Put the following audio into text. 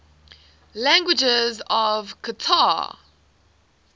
languages of qatar